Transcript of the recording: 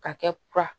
Ka kɛ kura